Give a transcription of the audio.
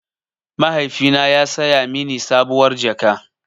Mahaifina ya saya mini sabuwar jaka.